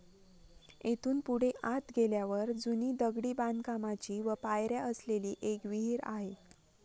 येथून पुढे आत गेल्यावर जूनी दगडी बांधकामाची व पायऱ्या असलेली एक विहीर आहे.